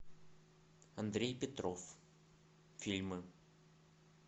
андрей петров фильмы